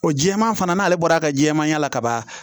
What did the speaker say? O jɛman fana n'ale bɔra ka jɛman y'a la kaban